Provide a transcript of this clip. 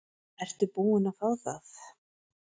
Ertu búin að fá það?